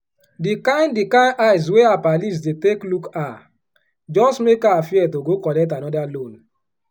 di kain di kain eye wey her pallies dey take look her just make her fear to go collect anoda loan.